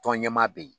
Tɔn ɲɛmaa bɛ yen